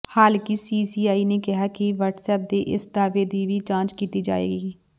ਹਾਲਾਂਕਿ ਸੀਸੀਆਈ ਨੇ ਕਿਹਾ ਹੈ ਕਿ ਵਟਸਐਪ ਦੇ ਇਸ ਦਾਅਵੇ ਦੀ ਵੀ ਜਾਂਚ ਕੀਤੀ ਜਾਏਗੀ